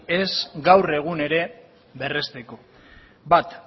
ez gaur egun ere berresteko bat